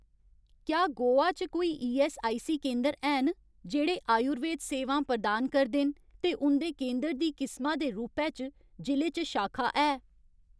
क्या गोवा च कोई ईऐस्सआईसी केंदर हैन जेह्ड़े आयुर्वेद सेवां प्रदान करदे न ते उं'दे केंदर दी किसमा दे रूपै च जि'ले च शाखा है ?